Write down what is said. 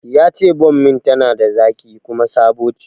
Yace bommin tana da zaƙi kuma sabo ce